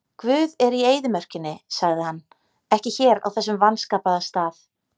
Guð er í eyðimörkinni, sagði hann, ekki hér á þessum vanskapaða stað.